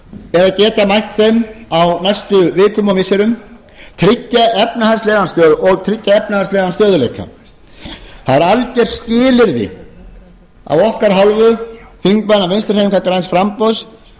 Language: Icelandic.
eða geta mætt þeim á næstu vikum og missirum og tryggja efnahagslegan stöðugleika það er algjört skilyrði af okkar hálfu þingmanna vinstri hreyfingarinnar græns framboðs